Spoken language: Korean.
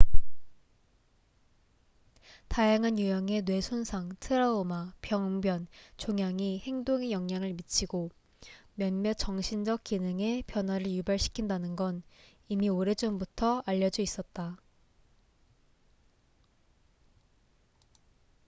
다양한 유형의 뇌 손상 트라우마 병변 종양이 행동에 영향을 미치고 몇몇 정신적 기능에 변화를 유발시킨다는건 이미 오래전부터 알려져 있었다